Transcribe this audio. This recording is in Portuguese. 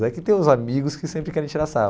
É que tem os amigos que sempre querem tirar sarro.